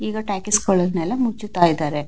ಈಗ ಟಾಕೀಸ್ ಗಳನ್ನೆಲ್ಲ ಮುಚ್ಚುತ್ತಾ ಇದ್ದಾರೆ.